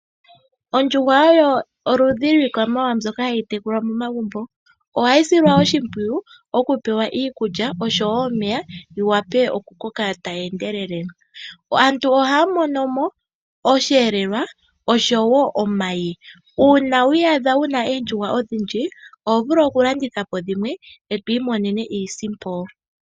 Ondjuhwa oyo oludhi lwikwamawawa ndyoka hayi tekulwa momagumbo. Ohayi silwa oshipwiyu okupewa iikulya nomeya yiwape okukoka tayi endelele. Aantu ohaya mono mo osheelelwa oshowo omayi. Uuna wi iyadha wuna oondjuhwa odhindji oho vulu okulandithapo dhimwe eto imonene iisimpo.